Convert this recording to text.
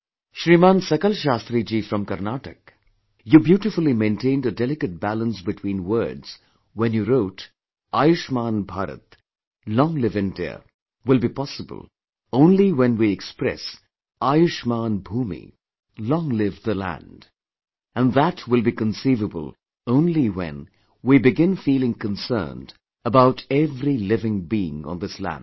Shriman Sakal Shastriji, you mentioned 'Karnataka'... you beautifully maintained a delicate balance between words when you wrote 'Ayushman Bharat'; 'Long live India' will be possible only when we express 'Ayushman Bhoomi; 'Long live the land'; and that will be conceivable only when we begin feeling concerned about every living being on this land